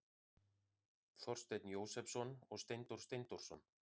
Þorsteinn Jósepsson og Steindór Steindórsson.